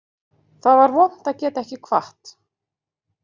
Það var vont að geta ekki kvatt